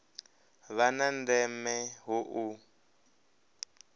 vha na ndeme hu u